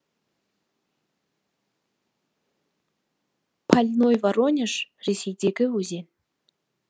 польной воронеж ресейдегі өзен